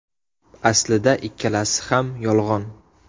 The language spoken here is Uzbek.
Aslida ikkalasi ham yolg‘on.